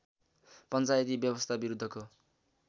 पञ्चायती व्यवस्था विरुद्धको